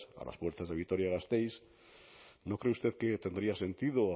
a las puertas de vitoria gasteiz no cree usted que tendría sentido